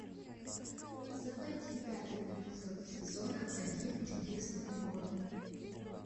заводи пятый эпизод сезона один чудесные годы